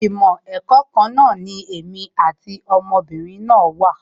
Ìmọ̀ ẹ̀kọ́ kan náà ni èmi àti ọmọ obìnrin náà wà